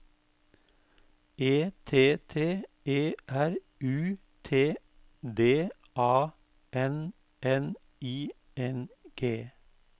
E T T E R U T D A N N I N G